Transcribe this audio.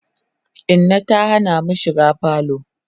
Inna ta Hana mu shiga falo